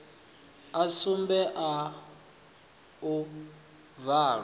a sumbe a u bvalwa